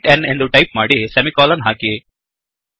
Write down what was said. int n ಎಂದು type ಮಾಡಿ semicolon ಹಾಕಿ